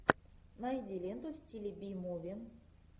найди ленту в стиле би муви